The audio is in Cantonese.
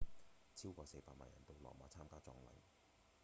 超過四百萬人到羅馬參加葬禮